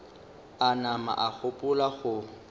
a nama a gopola go